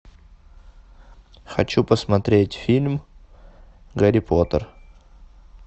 хочу посмотреть фильм гарри поттер